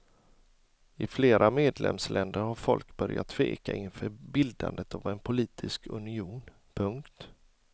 I flera medlemsländer har folk börjat tveka inför bildandet av en politisk union. punkt